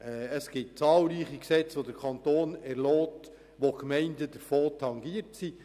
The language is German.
Es gibt zahlreiche Gesetze, welche der Kanton erlässt, wovon die Gemeinden tangiert sind.